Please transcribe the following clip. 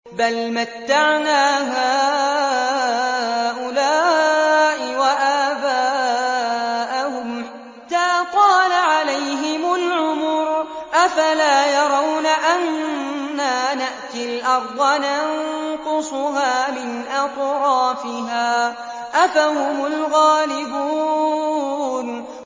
بَلْ مَتَّعْنَا هَٰؤُلَاءِ وَآبَاءَهُمْ حَتَّىٰ طَالَ عَلَيْهِمُ الْعُمُرُ ۗ أَفَلَا يَرَوْنَ أَنَّا نَأْتِي الْأَرْضَ نَنقُصُهَا مِنْ أَطْرَافِهَا ۚ أَفَهُمُ الْغَالِبُونَ